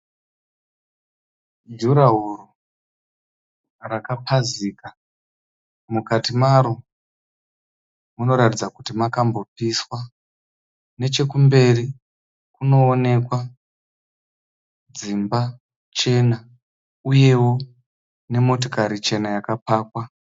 Jurahoro rakapazika. Mukati maro munoratidza kuti makambopiswa. Nechekumberi kunoonekwa dzimba chena uyewo nemotikari chena yakapakwa.